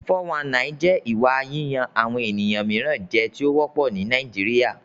419 jẹ́ ìwà yíyan àwọn ènìyàn mìíràn jẹ tó wọ́pọ̀ ní Nàìjíríà.